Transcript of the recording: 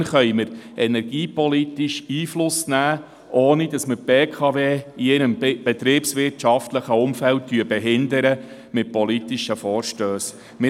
Erst dann können wir energiepolitisch Einfluss nehmen, ohne dass wir die BKW in ihrem betriebswirtschaftlichen Umfeld mit politischen Vorstössen behindern.